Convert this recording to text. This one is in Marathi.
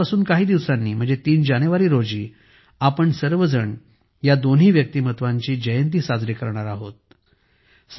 आजपासून काही दिवसांनी 3 जानेवारी रोजी आपण सर्वजण या दोन्ही व्यक्तिमत्त्वांची जयंती साजरी करणार आहोत